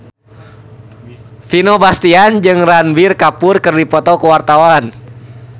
Vino Bastian jeung Ranbir Kapoor keur dipoto ku wartawan